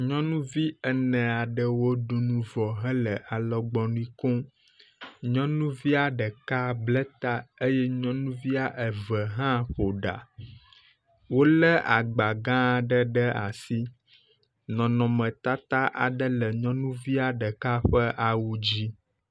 Nyɔnuvi ene aɖewo ɖu nu vɔ hele alɔgbɔnui kom. Nyɔnuvia ɖeka ble ta eye nyɔnuvia eve hã ƒo ɖa. Wo le agba gã ɖe ɖe asi. Nɔnɔmeteta aɖe le nyɔnuvia ɖeka ƒe awu dzi.